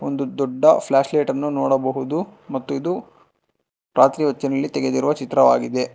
ದೊಡ್ಡ್ದೊಡ್ಡ flashlight ಅನ್ನು ನೋಡಬಹುದು ಮತ್ತು ಇದು ರಾತ್ರಿ ಹೊತ್ತಿನಲ್ಲಿ ತೆಗೆದಿರುವ ಚಿತ್ರವಾಗಿದೆ.